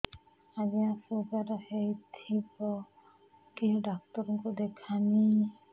ଆଜ୍ଞା ଶୁଗାର ହେଇଥିବ କେ ଡାକ୍ତର କୁ ଦେଖାମି